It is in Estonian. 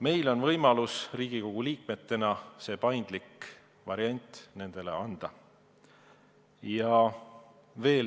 Meil on võimalik Riigikogu liikmetena see paindlik variant nendele anda.